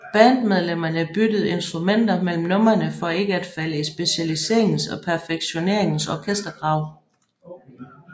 Bandmedlemmerne byttede instrumenter mellem numrene for ikke at falde i specialiseringens og perfektioneringens orkestergrav